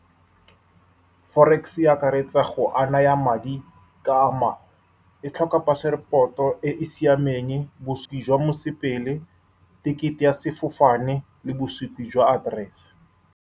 Forex e akaretsa go ananya madi ka ama. E tlhoka passport-o e e siameng, bosupi jwa mosepedi, ticket-e ya sefofane le bosupi jwa address-e.